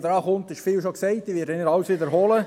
Ich werde nicht alles wiederholen.